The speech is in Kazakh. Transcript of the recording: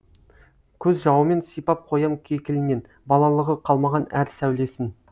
көз жауымен сипап қоям кекілінен балалығы қалмаған әр сәулесін